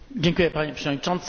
Panie Przewodniczący!